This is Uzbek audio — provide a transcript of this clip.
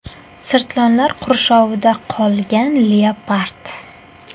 Sirtlonlar qurshovida qolgan leopard.